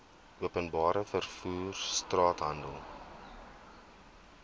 openbare vervoer straathandel